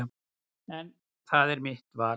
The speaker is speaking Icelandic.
En það er mitt val.